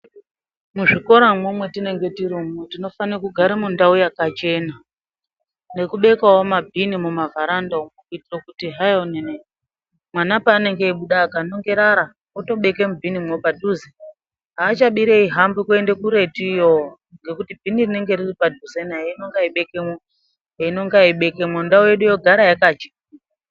Muzvikoramwo mwetinenge tiri tinofana kugara mundau yakachena nekubekawo mabhini mumavheranda umwu kuitira kuti hai mwana paanobuda akanonge rara otobeka mubhinimwo padhuze. Achabiri eihamba kuenda kuretu iyo ngekuti bhini rinenge riripadhuze naye einonga eibekemwo einonga eibekemwo ndau yedu yogara yakachena.